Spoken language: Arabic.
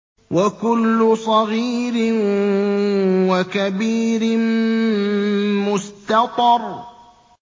وَكُلُّ صَغِيرٍ وَكَبِيرٍ مُّسْتَطَرٌ